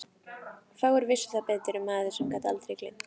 Fáir vissu það betur en maður sem gat aldrei gleymt.